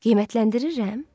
Qiymətləndirirəm?